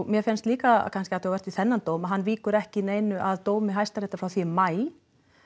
mér finnst líka kannski athugavert við þennan dóm að hann víkur ekki að dómi hæstaréttar frá því maí